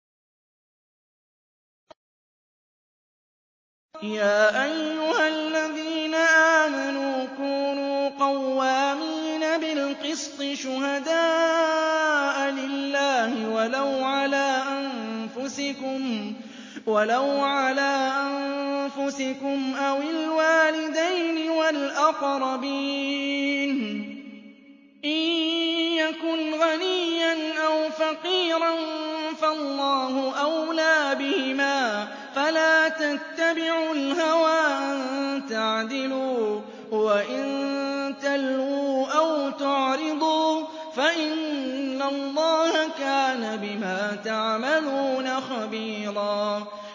۞ يَا أَيُّهَا الَّذِينَ آمَنُوا كُونُوا قَوَّامِينَ بِالْقِسْطِ شُهَدَاءَ لِلَّهِ وَلَوْ عَلَىٰ أَنفُسِكُمْ أَوِ الْوَالِدَيْنِ وَالْأَقْرَبِينَ ۚ إِن يَكُنْ غَنِيًّا أَوْ فَقِيرًا فَاللَّهُ أَوْلَىٰ بِهِمَا ۖ فَلَا تَتَّبِعُوا الْهَوَىٰ أَن تَعْدِلُوا ۚ وَإِن تَلْوُوا أَوْ تُعْرِضُوا فَإِنَّ اللَّهَ كَانَ بِمَا تَعْمَلُونَ خَبِيرًا